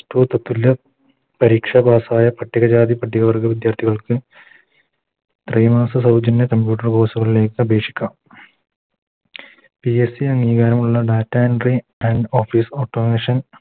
Plustwo തത്തുല്യ പരീക്ഷ Pass ആയ പട്ടിക ജാതി പട്ടിക വർഗ്ഗ വിദ്യാർത്ഥികൾക്ക് Free സൗജന്യ Computer course കളിലേക്ക് അപേക്ഷിക്കാം PSC അംഗീകാരമുള്ള Data entry and office automation